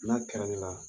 N'a kɛra ne la